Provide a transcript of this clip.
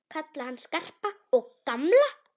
Kalla hann Skarpa og gamla!